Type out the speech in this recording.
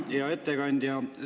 Hea ettekandja!